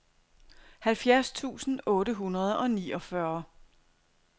halvfjerds tusind otte hundrede og niogfyrre